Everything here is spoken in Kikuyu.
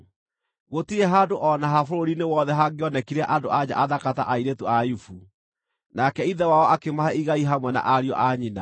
Gũtirĩ handũ o na ha bũrũri-inĩ wothe hangĩonekire andũ-a-nja athaka ta airĩtu a Ayubu, nake ithe wao akĩmahe igai hamwe na ariũ a nyina.